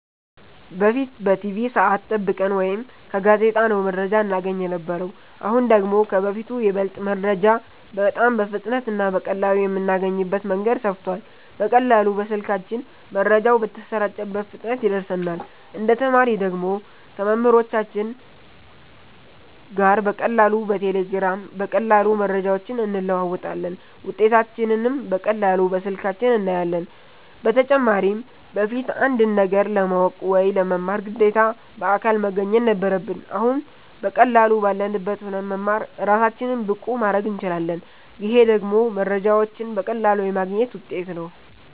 በፊት በቲቪ ሰዐት ጠብቀን ወይ ከጋዜጣ ነው መረጃ እናገኝ የነበረው አሁን ደግሞ ከበፊቱ ይበልጥ መረጃ በጣም በፍጥነት እና በቀላሉ የምናገኝበት መንገድ ሰፍቷል በቀላሉ በስልካችን መረጃው በተሰራጨበት ፍጥነት ይደርሰናል እንደ ተማሪ ደግሞ ከመምህሮቻችን ጋር በቀላሉ በቴሌግራም በቀላሉ መረጃዎችን እንለዋወጣለን ውጤታችንንም በቀላሉ በስልካችን እናያለን በተጨማሪም በፊት አንድን ነገር ለማወቅ ወይ ለመማር ግዴታ በአካል መገኘት ነበረብን አሁን በቀላሉ ባለንበት ሁነን መማር እራሳችንን ብቁ ማረግ እንችላለን ይሄ ደግሞ መረጃዎችን በቀላሉ የማግኘት ውጤት ነው